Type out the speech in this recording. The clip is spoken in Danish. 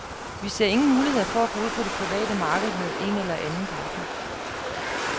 Vi ser ingen muligheder for at gå ud på det private marked med en eller anden partner.